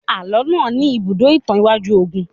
Àlọ́ náà ní ibùdó ìtàn iwájú ogun